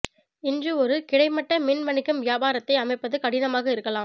இன்று ஒரு கிடைமட்ட மின் வணிகம் வியாபாரத்தை அமைப்பது கடினமாக இருக்கலாம்